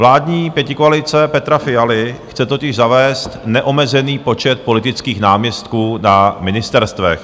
Vládní pětikoalice Petra Fialy chce totiž zavést neomezený počet politických náměstků na ministerstvech.